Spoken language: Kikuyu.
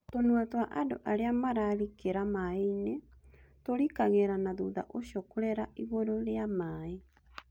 Tũnua twa andũ arĩa mararikĩra maĩ-inĩ tũrikagĩra na thutha ũcio kũrera igũrũ rĩa maĩ